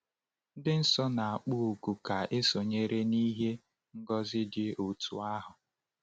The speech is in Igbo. Ndị nsọ na-akpọ oku ka e sonyere n’ihe ngọzi dị otú ahụ.